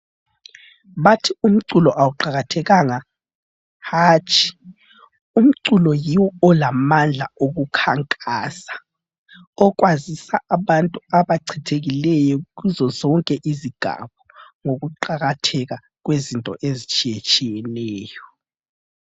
Bathi umculo awuqakathekanga. Hatshi umculo yiwo olamandla okukhankasa okwazisa abantu abachithekileyo kuzozonke izigaba ngokuqakatheka kwezinto ezitshiyetshiyeneyo.